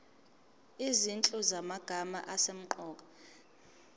izinhlu zamagama asemqoka